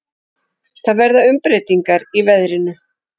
Það verða umbreytingar í veðrinu.